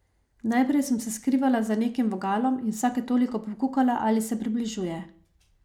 Najprej sem se skrivala za nekim vogalom in vsake toliko pokukala, ali se približuje.